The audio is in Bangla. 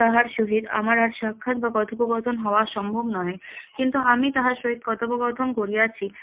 তাহার সহিত আমার আর সাক্ষাৎ বা কথোপকথন হওয়া সম্ভব নহে কিন্তু আমি তাহার সহিত কথোপকথন করিয়াছি